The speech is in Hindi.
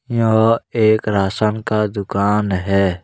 यह एक राशन का दुकान है।